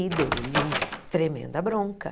E deu-lhe uma tremenda bronca.